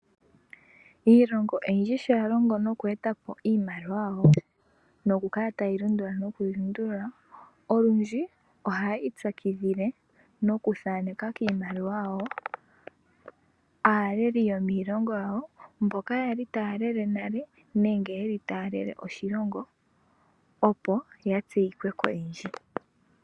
Iilongo oyindji sho ya longo noku etapo iimaliwa yawo nokukala tayi lundulula nokulundulula olundji ohayiitsakidhile nokuthaaneka kiimaliwa yawo aaleli yomiilongo yawo mboka yali taalele nale nenge yeli tayalele oshilongo opo yatseyikwe koyendji.